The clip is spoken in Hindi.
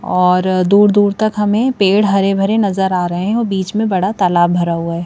और दूर-दूर तक हमें पेड़ हरे भरे नजर आ रहे हैं और बीच में बड़ा तालाब भरा हुआ है।